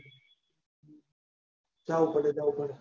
જાવું પડે જાવું પડે.